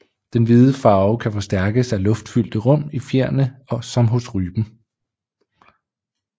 Den hvide farve kan forstærkes af luftfyldte rum i fjerene som hos rypen